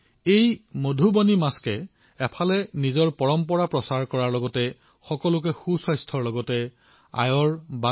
এই মধুবাণী মাস্কে এফালে নিজৰ পৰম্পৰাৰ প্ৰচাৰ কৰাৰ লগতে জনসাধাৰণৰ স্বাস্থ্য সজাগতা বৃদ্ধি কৰি উপাৰ্জনৰ পথো প্ৰদান কৰিছে